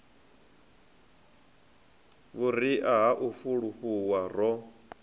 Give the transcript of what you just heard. vhuria ha u fulufhuwa ro